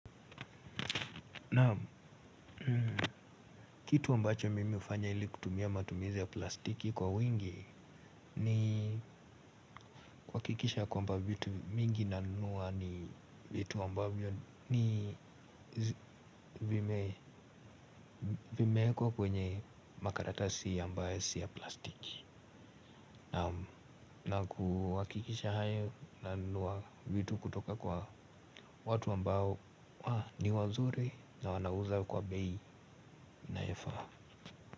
Naam kitu ambacho mimi ufanya ili kutumia matumizi ya plastiki kwa wingi nii kuhakikisha kwamba vitu vingi nanunua ni vitu ambayo ni vimeekwa kwenye makaratasi ya ambae sio ya plastiki. Na kuhakikisha hayo nanuwa vitu kutoka kwa watu ambayo ni wazuri na wanauza kwa bei inayofaa.